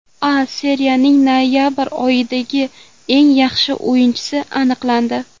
A Seriyaning noyabr oyidagi eng yaxshi o‘yinchisi aniqlandi.